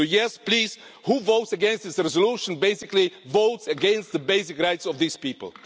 So yes, please, who votes against this resolution basically votes against the basic rights of these people.